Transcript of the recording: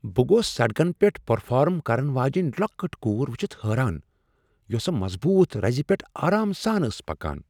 بہٕ گوس سڑکن پیٹھ پرفارم کرن واجیٚنۍ لۄکٕٹ کور ؤچھتھ حٲران یس مظبوط رزِ پیٹھ آرام سان ٲس پکان ۔